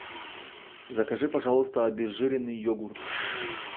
закажи пожалуйста обезжиренный йогурт